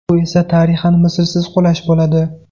Bu esa tarixan mislsiz qulash bo‘ladi!